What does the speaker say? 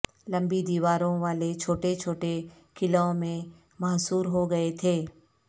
لمبی دیواروں والے چھوٹے چھوٹے قلعوں میں محصور ہو گئے تھے